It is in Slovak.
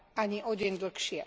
Ani o deň dlhšie.